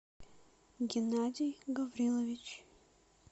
геннадий гаврилович